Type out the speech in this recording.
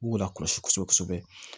U b'u lakɔlɔsi kosɛbɛ kosɛbɛ